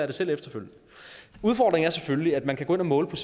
det selv efterfølgende udfordringen er selvfølgelig at man kan gå ind og måle